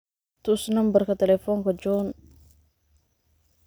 tus nambarka telefonka john